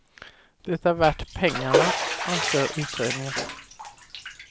Det är värt pengarna, anser utredningen.